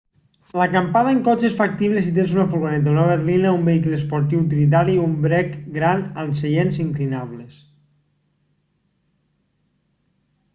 l'acampada en cotxe és factible si tens una furgoneta una berlina un vehicle esportiu utilitari o un brec gran amb seients inclinables